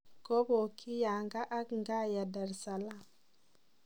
Kopong'jii Yanga ak Ngaya Dar-Es-Salaam.